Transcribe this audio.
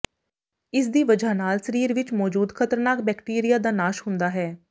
ਇਸਦੀ ਵਜ੍ਹਾ ਨਾਲ ਸਰੀਰ ਵਿੱਚ ਮੌਜੂਦ ਖਤਰਨਾਕ ਬੈਕਟੀਰੀਆ ਦਾ ਨਾਸ਼ ਹੁੰਦਾ ਹੈ